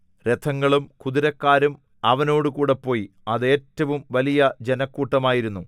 രഥങ്ങളും കുതിരക്കാരും അവനോടുകൂടെ പോയി അത് ഏറ്റവും വലിയ ജനക്കൂട്ടമായിരുന്നു